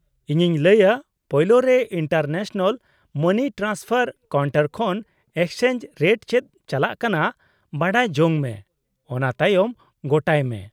-ᱤᱧᱤᱧ ᱞᱟᱹᱭᱟᱹ, ᱯᱳᱭᱞᱳ ᱨᱮ ᱤᱱᱴᱟᱨᱱᱮᱥᱱᱟᱞ ᱢᱟᱱᱤ ᱴᱨᱟᱱᱥᱯᱷᱟᱨ ᱠᱟᱣᱩᱱᱴᱟᱨ ᱠᱷᱚᱱ ᱮᱠᱥᱪᱮᱧᱡᱽ ᱨᱮᱴ ᱪᱮᱫ ᱪᱟᱞᱟᱜ ᱠᱟᱱᱟ ᱵᱟᱲᱟᱭ ᱡᱚᱝ ᱢᱮ, ᱚᱱᱟ ᱛᱟᱭᱚᱢ ᱜᱚᱴᱟᱭ ᱢᱮ ᱾